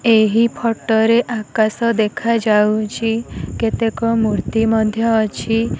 ଏହି ଫଟୋ ରେ ଆକାଶ ଦେଖା ଯାଉଛି କେତେକ ମୂର୍ତ୍ତୀ ମଧ୍ୟ ଅଛି।